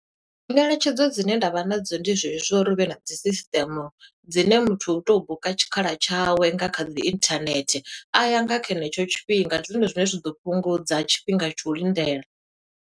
Ngeletshedzo dzine nda vha na dzo ndi zwe zwo, zwo uri hu vhe na dzi system, dzine muthu u tou buka tshikhala tshawe nga kha dzi internet. A ya nga kha henetsho tshifhinga, ndi zwone zwine zwa ḓo fhungudza tshifhinga tsha u lindela.